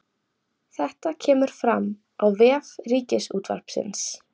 Þetta kemur fram á vef Ríkisútvarpsins